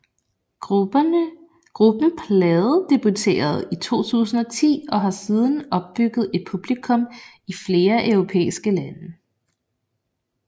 Gruppen pladedebuterede i 2010 og har siden opbygget et publikum i flere europæiske lande